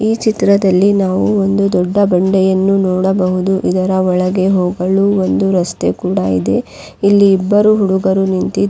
ಈ ಚಿತ್ರದಲ್ಲಿ ನಾವು ಒಂದು ದೊಡ್ಡ ಬಂಡೆಯನ್ನು ನೋಡಬಹುದು ಇದರ ಒಳಗೆ ಹೋಗಲು ಒಂದು ರಸ್ತೆ ಕೂಡ ಇದೆ ಇಲ್ಲಿ ಇಬ್ಬರು ಹುಡುಗರು ನಿಂತಿದ್--